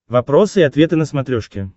вопросы и ответы на смотрешке